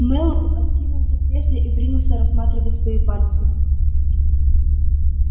мэллоу откинулся в кресле и принялся рассматривать свои пальцы